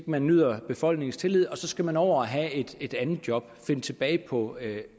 man nyder befolkningens tillid og så skal man over og have et et andet job finde tilbage på